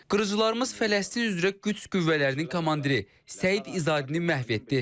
Qırıcılarımız Fələstin üzrə qüds qüvvələrinin komandiri Səid İzadini məhv etdi.